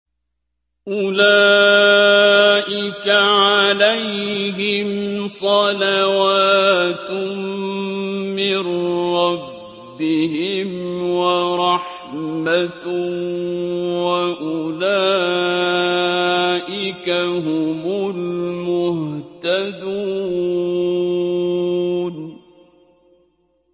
أُولَٰئِكَ عَلَيْهِمْ صَلَوَاتٌ مِّن رَّبِّهِمْ وَرَحْمَةٌ ۖ وَأُولَٰئِكَ هُمُ الْمُهْتَدُونَ